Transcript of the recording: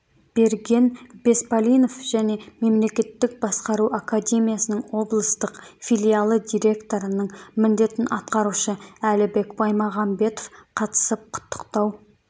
берген беспалинов және мемлекеттік басқару академиясының облыстық филиалы директорының міндетін атқарушы әлібек баймағамбетов қатысып құттықтау